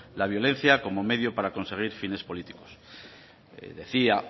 la violencia como medio para conseguir fines políticos decía